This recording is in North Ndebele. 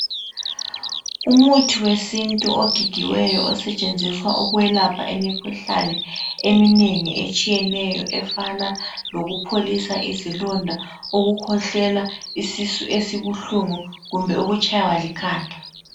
Umuthi wesintu ogigiweyo osentshenziswa ukwelapha imikhuhlane eminengi etshiyeneyo, efana lokupholisa izilonda, ukukhwehlela, isisu esibuhlungu kumbe ukutshaywa likhanda.